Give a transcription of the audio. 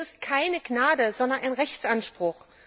Und das ist keine Gnade, sondern ein Rechtsanspruch!